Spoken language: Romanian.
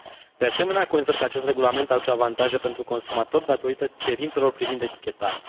De asemenea, consider că acest regulament aduce avantaje pentru consumatori datorită cerințelor privind etichetarea.